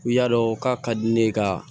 U y'a dɔn k'a ka di ne ye ka